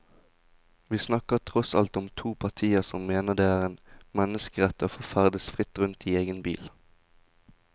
Vi snakker tross alt om to partier som mener det er en menneskerett å få ferdes fritt rundt i egen bil.